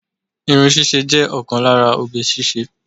Irun ṣíṣe jẹ́ ọ̀kan lára oge ṣíṣe